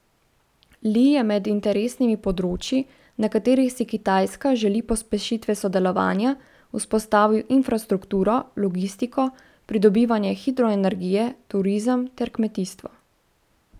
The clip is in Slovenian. Li je med interesnimi področji, na katerih si Kitajska želi pospešitve sodelovanja, izpostavil infrastrukturo, logistiko, pridobivanje hidroenergije, turizem ter kmetijstvo.